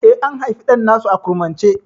Eh, an haifi ɗan nasu a kurmance?